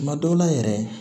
Tuma dɔw la yɛrɛ